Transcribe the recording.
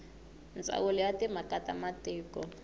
ndzawulo ya timhaka ta matiko